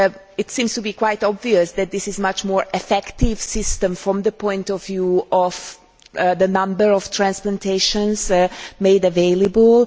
It seems to be quite obvious that this is a much more effective system from the point of view of the number of transplantations made available.